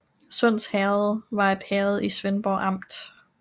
Sunds Herred var et herred i Svendborg Amt